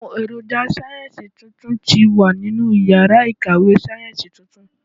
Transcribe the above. Ohùn èròjà sáyẹ́ǹsì tuntun ti wà nínú iyàrá ìkàwé sáyẹ́ǹsì tuntun